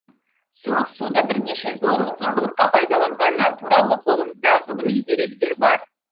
суық суды бірнеше зорлық пен зомбылыққа пайдаланғаны туралы қолымызда ғылыми деректер бар